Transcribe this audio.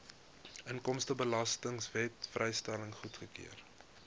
inkomstebelastingwet vrystelling goedgekeur